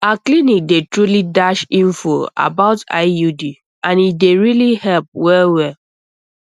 our clinic dey truly dash info about iud and e dey really help wellwell